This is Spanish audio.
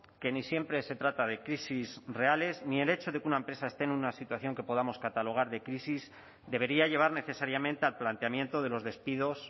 que ni siempre se trata de crisis reales ni el hecho de que una empresa esté en una situación que podamos catalogar de crisis debería llevar necesariamente al planteamiento de los despidos